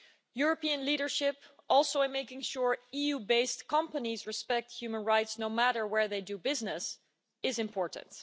European leadership, also in making sure EU-based companies respect human rights no matter where they do business, is important.